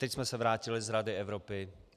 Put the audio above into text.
Teď jsme se vrátili z Rady Evropy.